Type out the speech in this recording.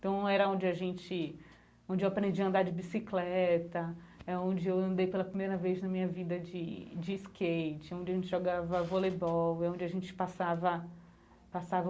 Então, era onde a gente... onde eu aprendi a andar de bicicleta, é onde eu andei pela primeira vez na minha vida de de skate, onde a gente jogava voleibol, onde a gente passava